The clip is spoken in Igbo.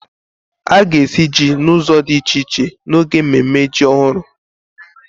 A ga-esi jí n'ụzọ di iche iche n'oge mmemme jí ọhụrụ